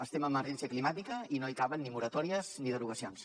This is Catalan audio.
estem en emergència climàtica i no hi caben ni moratòries ni derogacions